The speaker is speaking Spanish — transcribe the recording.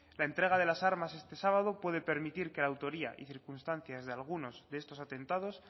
la entrega de las armas este sábado puede permitir que la autoría y circunstancia de algunos de estos atentados